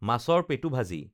মাছৰ পেটু ভাজি